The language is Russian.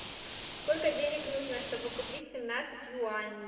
сколько денег нужно чтобы купить семнадцать юаней